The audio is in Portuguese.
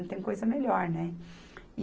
Não tem coisa melhor, né?